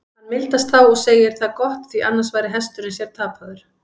Hann mildast þá og segir það gott, því annars væri hesturinn sér tapaður.